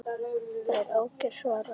Það er ágætt svarar hann.